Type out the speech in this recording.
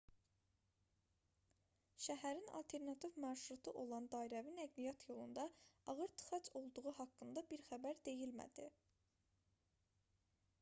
şəhərin alternativ marşrutu olan dairəvi nəqliyyat yolunda ağır tıxac olduğu haqqında bir xəbər deyilmədi